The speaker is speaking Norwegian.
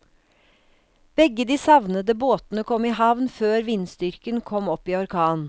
Begge de savnede båtene kom i havn før vindstyrken kom opp i orkan.